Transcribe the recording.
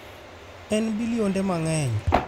En bilionde mang’eny.